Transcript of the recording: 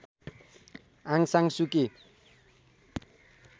आङ सान सुकी